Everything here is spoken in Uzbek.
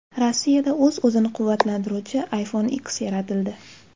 Rossiyada o‘z-o‘zini quvvatlantiruvchi iPhone X yaratildi .